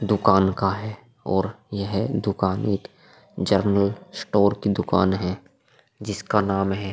दुकान का है और यह दुकान एक जनरल स्टोर की दुकान है जिसका नाम है।